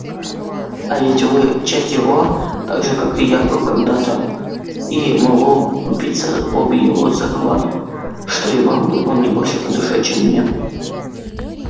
а ведь вы часть его так же как и я был когда-то и могу побиться об его заклад что и вам он не больше по душе чем мне